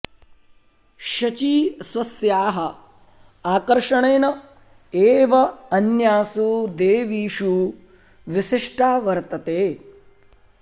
शची स्वस्याः आकर्षणेन एव अन्यासु देवीषु विशिष्टा वर्तते